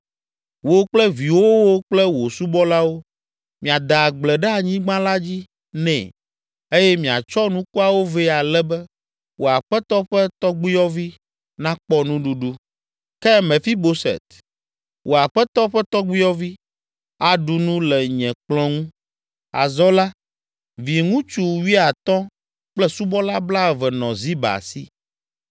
Wò kple viwòwo kple wò subɔlawo miade agble ɖe anyigba la dzi nɛ eye miatsɔ nukuawo vɛ ale be wò aƒetɔ ƒe tɔgbuiyɔvi nakpɔ nuɖuɖu. Ke Mefiboset, wò aƒetɔ ƒe tɔgbuiyɔvi, aɖu nu le nye kplɔ̃ ŋu.” Azɔ la, viŋutsu wuiatɔ̃ kple subɔla blaeve nɔ Ziba si.